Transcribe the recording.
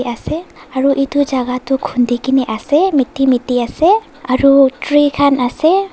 ase aru etu jagah tu khudi kini ase meti meti ase aru tree khan ase.